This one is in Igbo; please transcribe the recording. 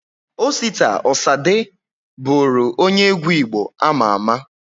Osita Osade bụru onye egwu Igbo ama ama